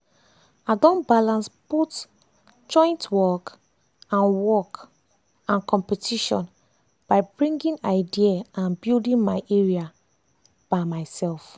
i don ballance both joint work and work and competition by bringing idea and building my area by myself.